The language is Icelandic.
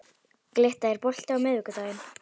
Glytta, er bolti á miðvikudaginn?